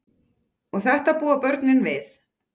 Og þetta búa börnin við.